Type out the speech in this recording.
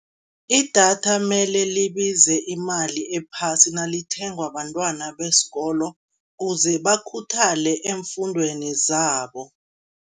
Idatha mele libize imali ephasi nalithengwa bantwana besikolo uze bakhuthale eemfundweni zabo.